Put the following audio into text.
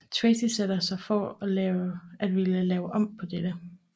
Tracy sætter sig for at ville lave om på dette